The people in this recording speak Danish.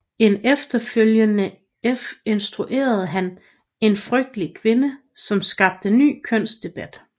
Efterfølgende instruerede han En frygtelig kvinde som skabte ny kønsdebat